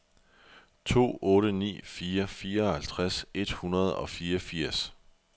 to otte ni fire fireoghalvtreds et hundrede og fireogfirs